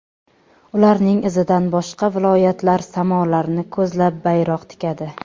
Ularning izidan boshqa viloyatlar samolarni ko‘zlab bayroq tikadi.